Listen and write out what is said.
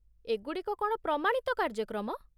ଏ ଗୁଡ଼ିକ କ'ଣ ପ୍ରମାଣିତ କାର୍ଯ୍ୟକ୍ରମ?